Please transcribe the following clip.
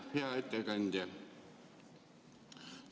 Hea ettekandja!